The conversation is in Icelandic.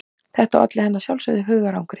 Þetta olli henni að sjálfsögðu hugarangri.